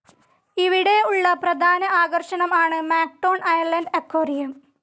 ഇവിടെ ഉള്ള പ്രധാന ആകർഷണം ആണ് മാക്ടോൺ അയലൻഡ് അക്വേറിയം.